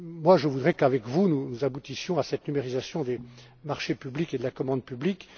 Je voudrais qu'avec vous, nous aboutissions à cette numérisation des marchés publics et de la commande publique.